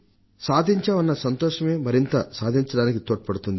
సాధించాం అన్న సంతోషమే మరింత సాధించడానికి తోడ్పడుతుంది